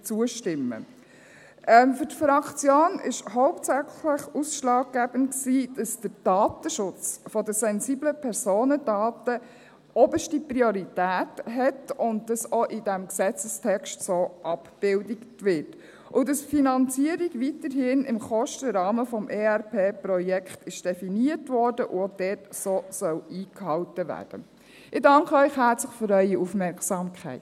Für die Fraktion war hauptsächlich ausschlaggebend, dass der Datenschutz der sensiblen Personendaten oberste Priorität hat und dies auch in diesem Gesetzestext so abgebildet wird und dass die Finanzierung weiterhin im Kostenrahmen des ERP-Projekts definiert wurde und dort auch so eingehalten werden soll.